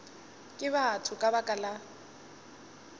ke batho ka baka la